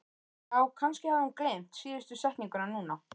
Já, kannski hafði hún gleymt síðustu setningunni núna.